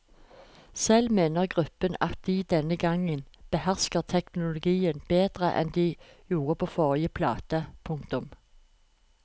Selv mener gruppen at de denne gang behersker teknologien bedre enn de gjorde på forrige plate. punktum